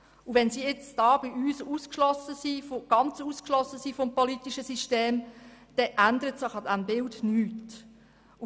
Wenn sie nun hier bei uns ganz vom politischen System ausgeschlossen sind, dann ändert sich an diesem Bild nichts.